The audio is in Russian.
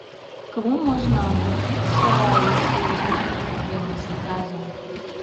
к кому можно обратиться если возникли проблемы с заказом